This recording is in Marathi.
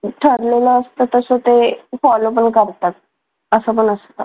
ठरलेलं असतं तसं ते follow पण करतात असं पण असतं